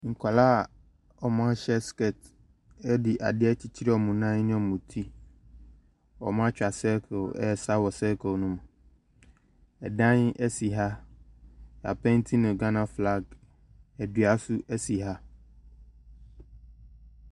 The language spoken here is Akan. Nkwadaa a wɔahyɛ skirt de adeɛ akyekyere wɔn nan ne wɔn ti. Wɔatwa circle ɛresa wɔ circle ne mu. Dan si ha, yɛapeenti no Ghana flag, dua nso si ha.